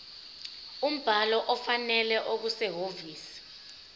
umbhalo ofanele okusehhovisi